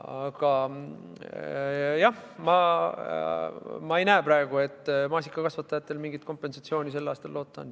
Aga jah, ma ei näe praegu, et maasikakasvatajatel mingit kompensatsiooni sel aastal loota on.